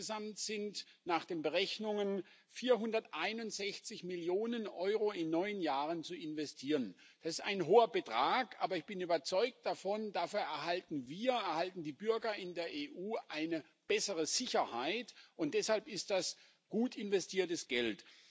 Insgesamt sind nach den Berechnungen 461 Millionen Euro in neun Jahren zu investieren. Das ist ein hoher Betrag, aber ich bin überzeugt, dafür erhalten wir, erhalten die Bürger in der EU, eine bessere Sicherheit, und deshalb ist das gut investiertes Geld.